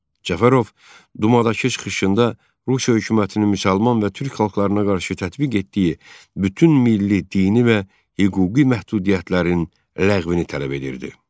Cəfərov dumadakı çıxışında Rusiya hökumətinin müsəlman və Türk xalqlarına qarşı tətbiq etdiyi bütün milli, dini və hüquqi məhdudiyyətlərin ləğvini tələb edirdi.